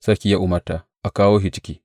Sarki ya umarta, A kawo shi ciki.